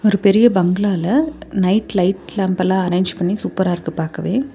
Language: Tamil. ஒரு பெரிய பங்களால நைட் லைட் லேம்ப் எல்லாம் அரேஞ்ச் பண்ணி சூப்பரா இருக்கு பாக்கவே.